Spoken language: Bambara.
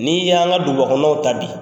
Ni y'an ka dugubakɔnɔnaw ta bi